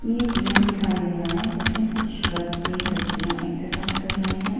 ये एक जिम दिखाई दे रहा है जिसमें कुछ लड़के लड़कियां एक्सरसाइज कर रहे हैं।